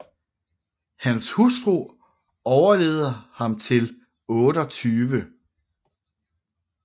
Hans hustru overlevede ham til 28